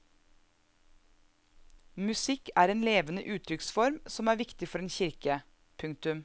Musikk er en levende uttrykksform som er viktig for en kirke. punktum